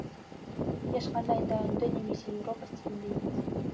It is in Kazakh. ешқандай да үнді немесе еуропа стилінде емес